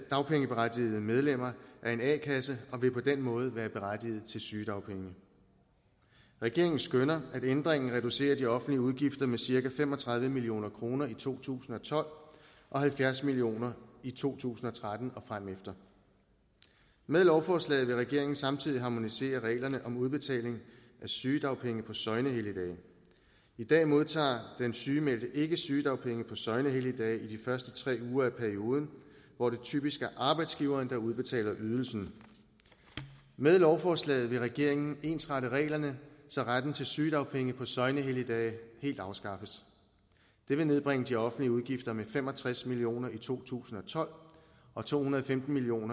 dagpengeberettigede medlemmer af en a kasse og vil på den måde være berettiget til sygedagpenge regeringen skønner at ændringen reducerer de offentlige udgifter med cirka fem og tredive million kroner i to tusind og tolv og halvfjerds million kroner i to tusind og tretten og fremefter med lovforslaget vil regeringen samtidig harmonisere reglerne om udbetaling af sygedagpenge på søgnehelligdage i dag modtager den sygemeldte ikke sygedagpenge på søgnehelligdage i de første tre uger af perioden hvor det typisk er arbejdsgiveren der udbetaler ydelsen med lovforslaget vil regeringen ensrette reglerne så retten til sygedagpenge på søgnehelligdage helt afskaffes det vil nedbringe de offentlige udgifter med fem og tres million kroner i to tusind og tolv og to hundrede og femten million